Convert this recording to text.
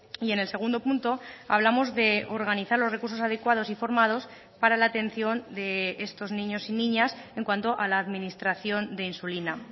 y en el segundo punto hablamos de organizar los recursos adecuados y formados para la atención de estos niños y niñas en cuanto a la administración de insulina